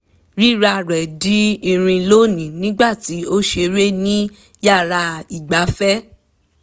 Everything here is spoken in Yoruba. rírá rẹ̀ di irin lónìí nígbà tí ó ń ṣeré ní yàrá ìgbáfẹ̀